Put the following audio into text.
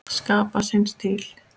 Skapa sinn stíl.